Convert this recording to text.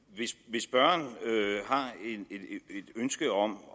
hvis spørgeren har et ønske om